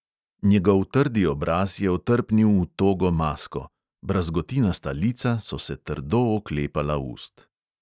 Njegov trdi obraz je otrpnil v togo masko, brazgotinasta lica so se trdo oklepala ust.